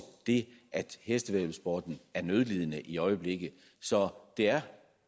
det at hestevæddeløbssporten er nødlidende i øjeblikket så det er